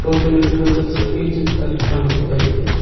ಗೋಪಿ ನಾಯಕ ಈ ಚಿತ್ರದಲ್ಲಿ ಕಾಣಬಹುದಾಗಿದೆ.